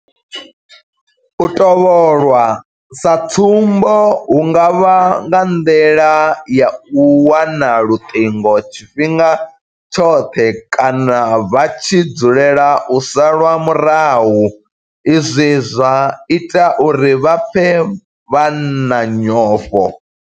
U tovholwa sa tsumbo hu nga vha nga nḓila ya u wana luṱingo tshifhinga tshoṱhe kana vha tshi dzulela u salwa murahu izwi zwa ita uri vha pfe vha na nyofho.